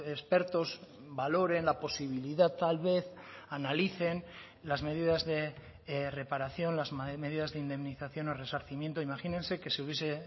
expertos valoren la posibilidad tal vez analicen las medidas de reparación las medidas de indemnización o resarcimiento imagínense que se hubiese